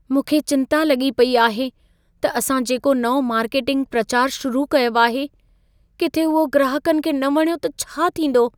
मूंखे चिंता लॻी पई आहे त असां जेको नओं मार्केटिंग प्रचार शुरु कयो आहे, किथे उहो ग्राहकनि खे न वणियो त छा थींदो?